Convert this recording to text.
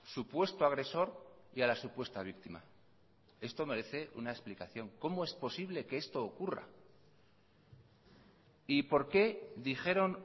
supuesto agresor y a la supuesta víctima esto merece una explicación cómo es posible que esto ocurra y por qué dijeron